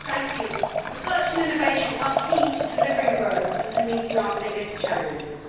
Madam President, research and innovation are key to delivering growth and to meeting our biggest challenges.